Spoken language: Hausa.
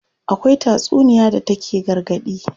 Akwai tatsuniya da take gargaɗi.